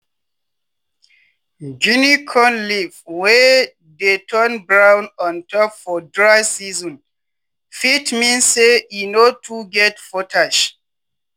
guinea corn leaf wey dey turn brown ontop for dry season fit mean say e no too get potash.